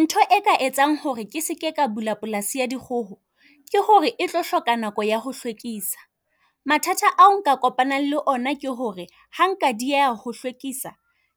Ntho e ka etsang hore ke seke ka bula polasi ya dikgoho ke hore e tlo hloka nako ya ho hlwekisa. Mathata ao nka kopanang le ona ke hore ha nka dieha ho hlwekisa,